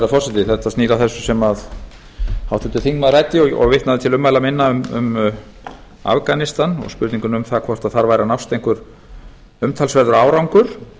herra forseti þetta snýr að þessu sem háttvirtur þingmaður ræddi og vitnaði til ummæla minna um afganistan og spurninguna um það hvort þar væri að nást einhver umtalsverður árangur